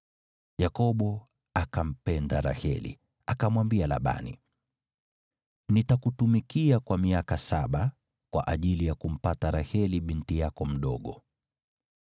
Yakobo akampenda Raheli, akamwambia Labani, “Nitakutumikia kwa miaka saba kwa ajili ya kumpata Raheli binti yako mdogo.”